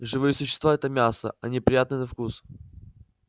живые существа это мясо они приятны на вкус